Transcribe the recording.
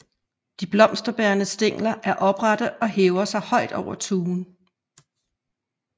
De blomsterbærende stængler er oprette og hæver sig højt over tuen